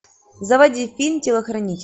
заводи фильм телохранитель